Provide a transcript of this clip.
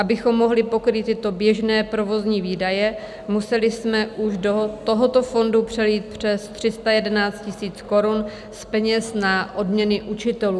Abychom mohli pokrýt tyto běžné provozní výdaje, museli jsme už do tohoto fondu přelít přes 311 000 korun z peněz na odměny učitelů.